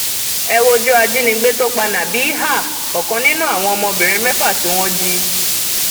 ẹ wojú ajínigbé tó pa nabéèhà ọkàn nínú àwọn ọmọbìnrin mẹfà tí wọn jí